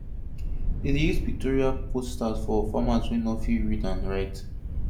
dem dey use pictorial posters for farmers wey no fit read or write